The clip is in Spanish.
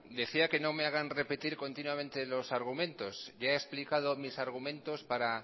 decía que no me hagan repetir continuamente los argumentos ya he explicado mis argumentos para